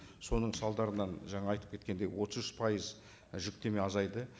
соның салдарынан жаңа айтып кеткендей отыз үш пайыз жүктеме азайды